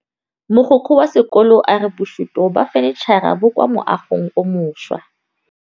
Mogokgo wa sekolo a re bosutô ba fanitšhara bo kwa moagong o mošwa.